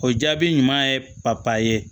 O jaabi ɲuman ye ye